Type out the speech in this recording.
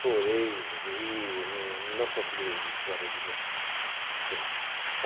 Chorei, ri, não consegui dormir de alegria.